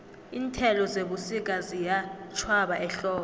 iinthelo zebusika ziyatjhwaba ehlobo